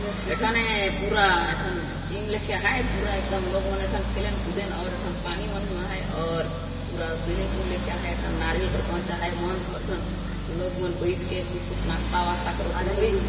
एठने पूरा एठन जिम लेखे आहाय पूरा एकदम लोग मन एठन खेलेन कूदेन और एठन पानी मन हों आहाय और पूरा स्विमिंग पूल लेखे आहाय एठन नरियल कर गच आहाय मन और एठन लोग मन बैठ के कुछ कुछ नास्ता वास्ता करत हे |